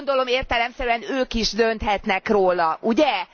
Gondolom, értelemszerűen ők is dönthetnek róla, ugye?